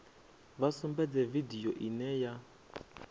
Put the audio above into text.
vha sumbedze vidio ine ya